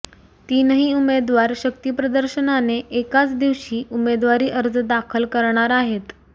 तीनही उमेदवार शक्तीप्रदर्शनाने एकाच दिवशी उमेदवारी अर्ज दाखल करणार आहेत